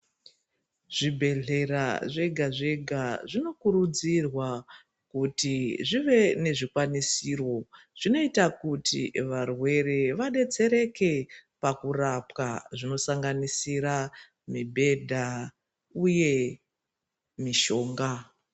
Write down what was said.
Zvibhedhleya zvega zvega zvinokurudzirwa kuti zvive nezvikwanisiro zvinoita kuti varwere vadetsereke pakurapwa zvinosanganisira mibhedha uye mishonga.